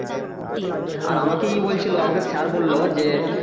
আর আমাকেই বলছিলো আমাকে sir বললো যে,